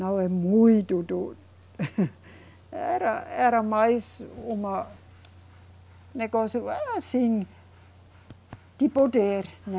Não é muito do, era, era mais uma Negócio assim. De poder, né?